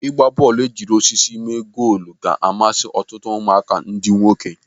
Ịgba bọọlụ ejiri osisi mee goolu ga-amasị ọtụtụ ụmụaka ndị nwoke.